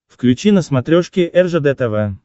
включи на смотрешке ржд тв